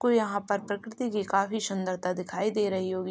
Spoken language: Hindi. कोई यहाँं पर प्रकृति की काफी सुंदरता दिखाई दे रही होगी।